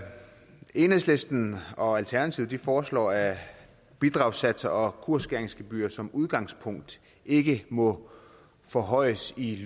enhedslisten og alternativet foreslår at bidragssatser og kursskæringsgebyrer som udgangspunkt ikke må forhøjes i